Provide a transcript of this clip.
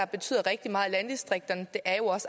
betyder rigtig meget i landdistrikterne er